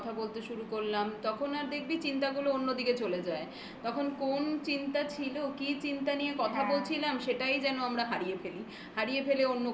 তুই যখন তোর সঙ্গে কথা বলতে শুরু করলাম তখন আর দেখবি চিন্তা গুলো অন্য দিকে চলে যায় তখন কোন চিন্তা ছিল, কি চিন্তা নিয়ে কথা বলছিলাম সেটাই যেন আমরা হারিয়ে ফেলি. হারিয়ে